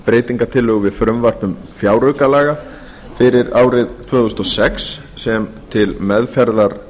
breytingartillögu við frumvarp til fjáraukalaga fyrir árið tvö þúsund og sex sem til meðferðar